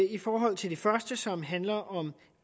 i forhold til det første som handler om